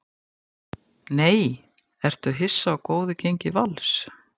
NEI Ertu hissa á góðu gengi Vals?